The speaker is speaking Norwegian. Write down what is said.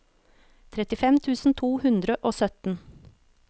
trettifem tusen to hundre og sytten